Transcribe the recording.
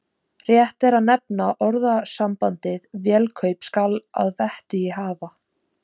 Rétt er að nefna orðasambandið vélakaup skal að vettugi hafa.